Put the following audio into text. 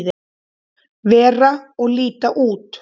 vera og líta út.